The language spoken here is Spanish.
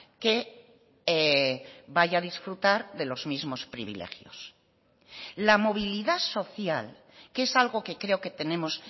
que vaya a disfrutar de los mismos privilegios la movilidad social que es algo que creo que tenemos